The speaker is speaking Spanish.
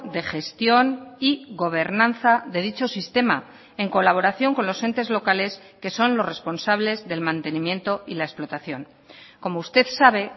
de gestión y gobernanza de dicho sistema en colaboración con los entes locales que son los responsables del mantenimiento y la explotación como usted sabe